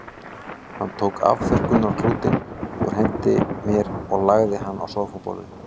Hann tók afþurrkunarklútinn úr hendinni á mér og lagði hann á sófaborðið.